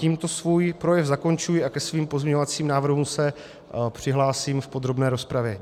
Tímhle svůj projev zakončuji a ke svým pozměňovacím návrhům se přihlásím v podrobné rozpravě.